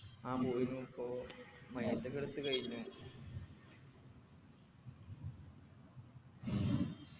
ആ പോയിരുന്നു പ്പോ ഒക്കെ എടുത്തു കഴിഞ്ഞു